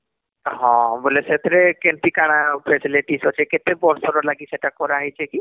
ବୋଲେ ସେଥିରେ କେମିତି କଣ Facilities ଅଛି କେତେ ବର୍ଷ ଲାଗି କରା ହେଇଛି କି